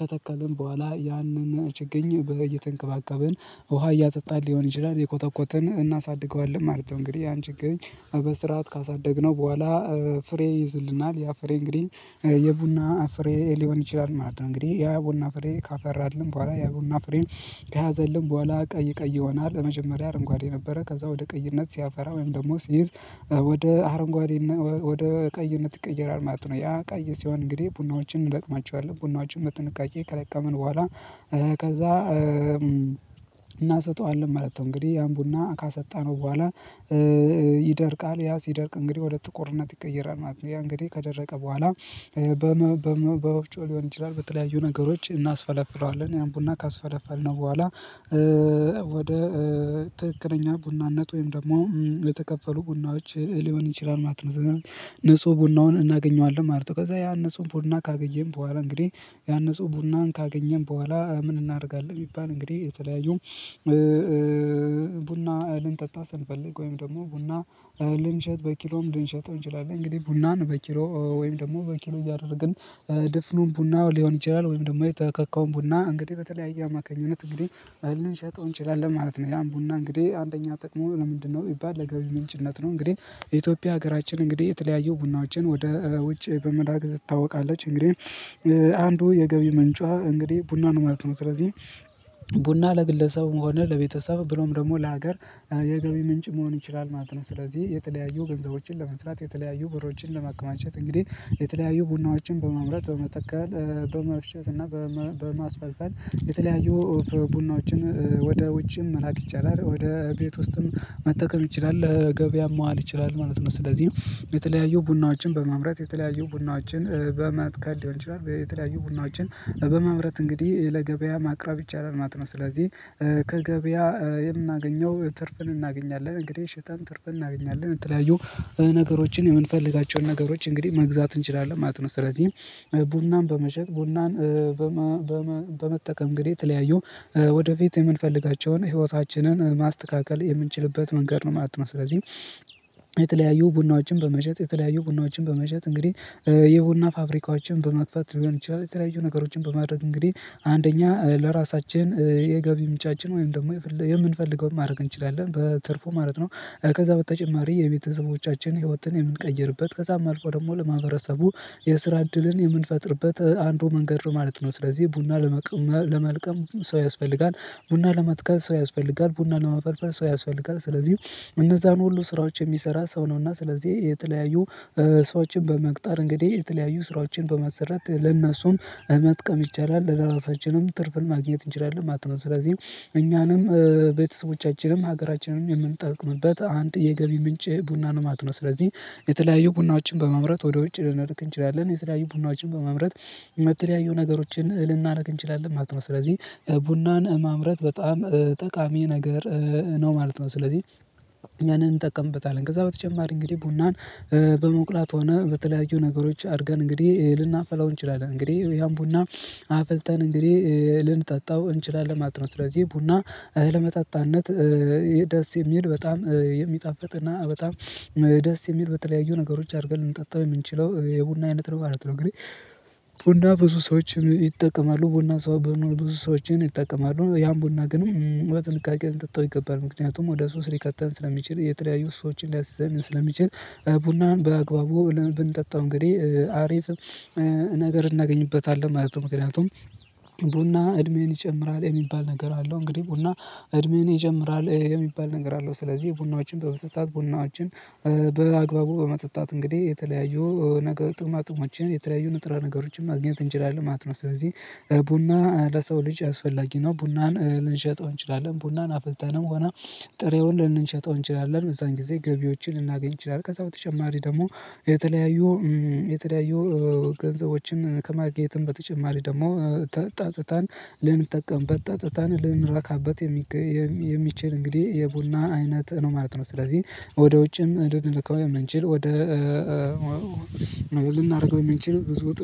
ከተከልን በኋላ ያንን ችግኝ በየተንከባከበን ውሃ እያጠጣን ሊሆን ይችላል እየኮተኮትን እናሳድገዋለን ማለት ነው። እንግዲህ ያን ችግኝ በስርዓት ካሳደግነው በኋላ ፍሬ ይዝልናል ያፍሬ እንግዲህ የቡና አፍሬ ሊሆን ይችላል ማለት ነው። እንግዲህ ያ ቡና ፍሬ ካፈራልን በኋላ ያ ቡና ፍሬን ከያዘልን በኋላ ቀይ ቀይ ይሆናል ለመጀመሪያ አረንጓዴ ነበረ ከዛ ወደ ቀይነት ሲያፈራ ወይም ደግሞ ሲይዝ ወደ አረንጓዴና ወደ ቀይነት ይቀየራል ማለት ነው። ያ ቀይ ሲሆን እንግዲህ ቡናዎችን እንለቅማቸዋለን ቡናዎችን በጥንቃቄ ከለቀመን በኋላ ከዛ እናሰጠዋለን ማለት ነው። እንግዲህ ያን ቡና ካሰጣነው በኋላ ይደርቃል ያ ሲደርቅ እንግዲህ ወደ ጥቁርነት ይቀየራል ማለት ነው። ያ እንግዲህ ከደረቀ በኋላ በወፍጮ ሊሆን ይችላል በተለያዩ ነገሮች እናስፈለፍለዋለን ያን ቡና ካስፈለፈልነው በኋላ ወደ ትክክለኛ ቡናነት ወይም ደግሞ የተከፈሉ ቡናዎች ሊሆን ይችላል ማለት ነው። ንጹህ ቡናውን እናገኘዋለን ማለት ነው። ከዛ ያን ንጹህ ቡና ካገኘን በኋላ እንግዲህ ያን ያንን ጽሁፍ ቡናን ካገኘን በኋላ ምን እናደርጋለን ቢባል እንግዲህ የተለያዩ ቡና እልንጠጣ ስንፈልግ ወይም ደግሞ ቡና ልንሸጥ በኪሎም ልንሸጥ እንችላለን። እንግዲህ ቡናን በኪሎ ወይም ደግሞ በኪሎ እያደረግን ድፍኑን ቡናው ሊሆን ይችላል ወይም ደግሞ የተከካውን ቡና እንግዲህ በተለያየ አማካኝነት እንግዲህ ልንሸጠው እንችላለን ማለት ነው። ያን ቡና እንግዲህ አንደኛ ጥቅሙ ለምንድነው ቢባል ለገቢ ምንጭነት ነው። እንግዲህ የኢትዮጵያ ሀገራችን እንግዲህ የተለያየ ቡናዎችን ወደ ውጭ በመላክ ትታወቀለች እንግዲህ አንዱ የገቢ ምንጯ እንግዲህ ቡና ነው ማለት ነው። ስለዚህ ቡና ለግለሰቡም ሆነ ለቤተሰብ ብሎም ደግሞ ለሀገር የገቢ ምንጭ መሆን ይችላል ማለት ነው። ስለዚህ የተለያዩ ገንዘቦችን ለመስራት የተለያዩ ብሮችን ለማከማቸት እንግዲህ የተለያዩ ቡናዎችን በማምረት በመተከል በመፍጨት እና በማስፈልፈል የተለያዩ ቡናዎችን ወደ ውጭም መላክ ይቻላል ወደ ቤት ውስጥም መተከል ይችላል ለገበያም መዋል ይችላል ማለት ነው። ስለዚህ የተለያዩ ቡናዎችን በመምረጥ የተለያዩ ቡናዎችን በመትከል ሊሆን ይችላል የተለያዩ ቡናዎችን በመምረጥ እንግዲህ ለገበያ ማቅረብ ይቻላል ማት ነው። ስለዚህ ከገበያ የምናገኘው ትርፍን እናገኛለን እንግዲህ ሽጠን ትርፍን እናገኛለን የተለያዩ ነገሮችን የምንፈልጋቸውን ነገሮች እንግዲህ መግዛት እንችላለን ማለት ነው። ስለዚህም ቡናን በመሸጥ ቡናን በመጠቀም እንግዲህ የተለያዩ ወደፊት የምንፈልጋቸውን ህይወታችንን ማስተካከል የምንችልበት መንገድ ነው ማለት ነው። ስለዚህ የተለያዩ ቡናዎችን በመሸጥ የተለያዩ ቡናዎችን በመሸጥ እንግዲህ የቡና ፋብሪካዎችን በመክፈት ሊሆን ይችላል። የተለያዩ ነገሮችን በማድረግ እንግዲህ አንደኛ ለራሳችን የገቢ ምንጫችን ወይም ደግሞ የምንፈልገውን ማድረግ እንችላለን በትርፉ ማለት ነው። ከዛ በተጨማሪ የቤተሰቦቻችን ህይወትን የምንቀይርበት ከዛም አልፎ ደግሞ ለማህበረሰቡ የስራ እድልን የምንፈጥርበት አንዱ መንገድ ነው ማለት ነው። ስለዚህ ቡና ለመቅመ ለመልቀም ሰው ያስፈልጋል ቡና ለመትከል ሰው ያስፈልጋል ቡና ለመፈርፈር ሰው ያስፈልጋል። ስለዚህ እነዛን ሁሉ ስራዎች የሚሰራ ሰው ነውና ስለዚህ የተለያዩ ሰዎችን በመቅጠር እንግዲህ የተለያዩ ስራዎችን በመሰረት ለእነሱም መጥቀም ይቻላል ለራሳችንም ትርፍን ማግኘት እንችላለን ማለት ነው። ስለዚህ እኛንም ቤተሰቦቻችንም ሀገራችንንም የምንጠቅምበት አንድ የገቢ ምንጭ ቡናን ነው ማት ነው። ስለዚህ የተለያዩ ቡናዎችን በመምረጥ ወደ ውጭ ልንልክ እንችላለን የተለያዩ ቡናዎችን በመምረጥ የምትለያዩ ነገሮችን ልናረግ እንችላለን ማለት ነው። ስለዚህ ቡናን ማምረት በጣም ጠቃሚ ነገር ነው ማለት ነው። ስለዚህ ያንን እንጠቀምበታለን ከዛ በተጨማሪ እንግዲህ ቡናን በመቁላት ሆነ በተለያዩ ነገሮች አድርገን እንግዲህ ልናፈላው እንችላለን እንግዲህ ያን ቡና አፍልተን እንግዲህ ልንጠጣው እንችላለን ማት ነው። ስለዚህ ቡና ለመጠጣነት ደስ የሚል በጣም የሚጣፍጥ እና በጣም ደስ የሚል በተለያዩ ነገሮች አድርገን ልንጠጣ የምንችለው የቡና አይነት ነው ማለት ነው። እንግዲህ ቡና ብዙ ሰዎች ይጠቀማሉ ቡና ሰው ብዙ ሰዎችን ይጠቀማሉ ያን ቡና ግን በጥንቃቄ ልንጠጣው ይገባል። ምክንያቱም ወደ ሱስ ሊከተን ስለሚችል የተለያዩ ሱሶችን ሊያስይዘን ስለሚችል ቡናን በአግባቡ ብንጠጣው እንግዲህ አሪፍ ነገር እናገኝበታለን ማለት ነው። ምክንያቱም ቡና እድሜህን ይጨምራል የሚባል ነገር አለው። እንግዲህ ቡና እድሜን ይጨምራል የሚባል ነገር አለው። ስለዚህ ቡናዎችን በብተታት ቡናዎችን በአግባቡ በመጠጣት እንግዲህ የተለያዩ ነገር ጥቅማ ጥቅሞችን የተለያዩ ንጥረ ነገሮችን ማግኘት እንችላለን ማለት ነው። ስለዚህ ቡና ለሰው ልጅ አስፈላጊ ነው። ቡናን ልንሸጠው እንችላለን ቡናን አፈልተንም ሆነ ጥሬውን ልንሸጠው እንችላለን በዛን ጊዜ ገቢዎችን ልናገኝ እንችላለን። ከዛ በተጨማሪ ደግሞ የተለያዩ የተለያዩ ገንዘቦችን ከማግኘትም በተጨማሪ ደግሞ ጠጥተን ልንጠቀምበት ጠጥተን ልንረካበት የሚችል እንግዲህ የቡና አይነት ነው ማለት ነው። ስለዚህ ወደ ውጭም እንድንልከው የምንችል ወደ ልናደርገው የምንችል ብዙ ጥ